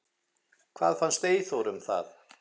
Hvað fannst Eyþóri um það?